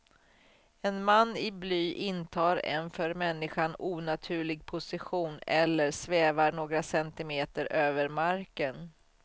En man i bly intar en för människan onaturlig position, eller svävar några centimeter över marken.